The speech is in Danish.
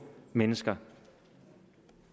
mennesker